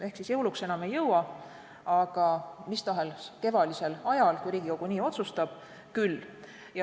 Ehk jõuluks enam ei jõua, aga mis tahes kevadisel ajal, kui Riigikogu nii otsustab, küll.